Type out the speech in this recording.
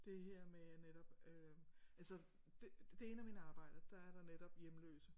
Det her med netop øh altså det det af mine arbejder der er der netop hjemløse